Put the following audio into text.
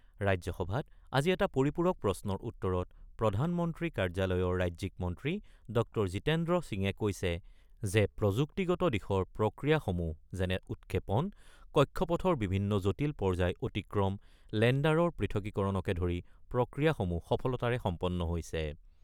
ৰাজ্যসভাত আজি এটা পৰিপূৰক প্ৰশ্নৰ উত্তৰত প্ৰধানমন্ত্ৰী কাৰ্যালয়ৰ ৰাজ্যিক মন্ত্ৰী ড০ জিতেন্দ্ৰ সিঙে কৈছে যে প্ৰযুক্তিগত দিশৰ প্ৰক্ৰিয়াসমূহ যেনে, উৎক্ষেপন, কক্ষপথৰ বিভিন্ন জটিল পৰ্যায় অতিক্ৰম, লেণ্ডাৰৰ পৃথকীকৰণকে ধৰি প্ৰক্ৰিয়াসমূহ সফলতাৰে সম্পন্ন হৈছে।